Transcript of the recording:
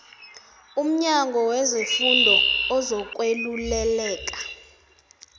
umnyango wezefundo ozokweluleleka